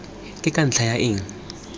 ke ka ntlha ya eng